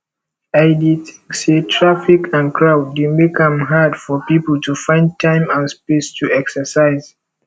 i dey think say traffic and crowd dey make am hard for people to find time and space to exercise